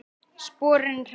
Sporin hræða.